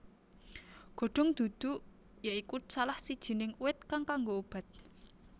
Godong duduk ya iku salah sijining uwit kang kanggo obat